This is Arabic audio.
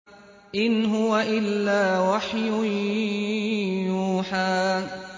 إِنْ هُوَ إِلَّا وَحْيٌ يُوحَىٰ